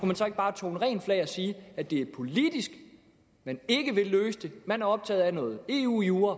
man så ikke bare tone rent flag og sige at det er politisk man ikke vil løse det man er optaget af noget eu jura